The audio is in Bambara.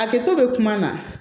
A kɛtɔ bɛ kuma na